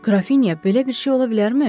Qrafinya, belə bir şey ola bilərmi?